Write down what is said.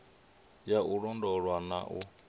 ya u londolwa na u